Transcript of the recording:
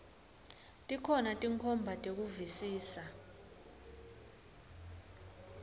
tikhona tinkhomba tekuvisisa